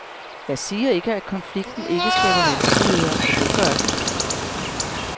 Jeg siger ikke, at konflikten ikke skaber vanskeligheder, for det gør den.